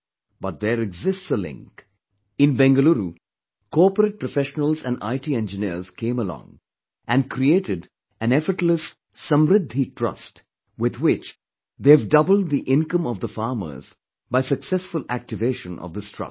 But there exists a link, in Bangalore, corporate professionals and IT engineers came along and created an effortless 'Samridhi trust' with which they have doubled the income of the farmers by successful activation of this trust